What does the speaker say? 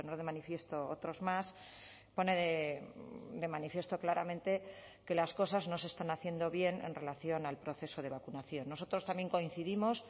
de manifiesto otros más pone de manifiesto claramente que las cosas no se están haciendo bien en relación al proceso de vacunación nosotros también coincidimos